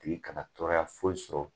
Tigi kana tɔɔrɔya foyi sɔrɔ